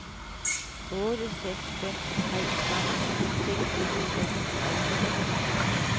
otte seks fem tre tretten seks hundrede og seksogtredive